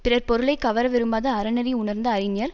பிறர் பொருளை கவர விரும்பாத அறநெறி உணர்ந்த அறிஞர்